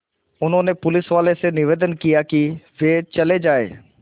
उन्होंने पुलिसवालों से निवेदन किया कि वे चले जाएँ